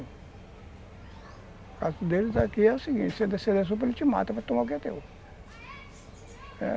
O caso deles aqui é o seguinte, você descer na rua, ele te mata, vai tomar o que é teu.